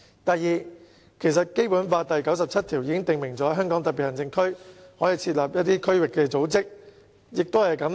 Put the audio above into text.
第二，其實《基本法》第九十七條已訂明香港特別行政區可設立區域組織。